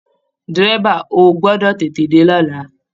Dẹ́rẹ́bà, ó gbọdọ̀ tètè dé lọ́la!